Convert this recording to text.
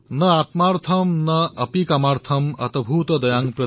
ন আত্মাৰ্থম ন অপি কামাৰ্থম অতভুত দয়াম প্ৰতি